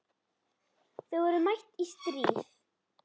Þau voru mætt í stríð.